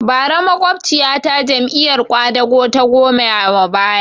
Bara makwabciya ta Jam'iyar ƙwadago ta goya ma baya